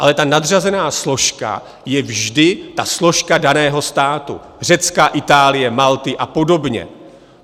Ale ta nadřazená složka je vždy ta složka daného státu - Řecka, Itálie, Malty a podobně.